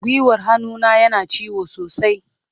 Gwiwar hannuna yana ciwo sosai.